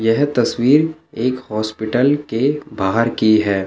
यह तस्वीर एक हॉस्पिटल के बाहर की है।